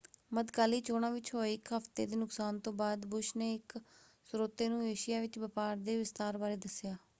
ਮੱਧਕਾਲੀ ਚੋਣਾਂ ਵਿੱਚ ਹੋਏ ਇੱਕ ਹਫ਼ਤੇ ਦੇ ਨੁਕਸਾਨ ਤੋਂ ਬਾਅਦ ਬੁਸ਼ ਨੇ ਇੱਕ ਸਰੋਤੇ ਨੂੰ ਏਸ਼ੀਆ ਵਿੱਚ ਵਪਾਰ ਦੇ ਵਿਸਥਾਰ ਬਾਰੇ ਦੱਸਿਆ।